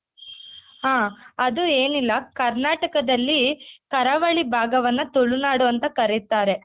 ಹ ಅದು ಏನಿಲ್ಲ ಕರ್ನಾಟಕದಲ್ಲಿ ಕರಾವಳಿ ಭಾಗವನ್ನ ತುಳುನಾಡು ಅಂತ ಕರಿತಾರೆ.